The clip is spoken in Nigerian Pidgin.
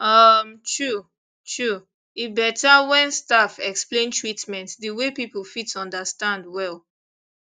um true true e better when staff explain treatment the way people fit understand well